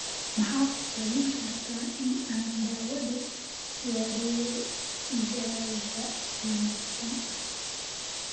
ma ku talin kartaa in aan daawado wareeggeyga wanaagsan